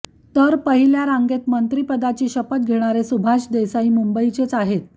तर पहिल्या रांगेत मंत्रीपदाची शपथ घेणारे सुभाष देसाई मुंबईचेच आहेत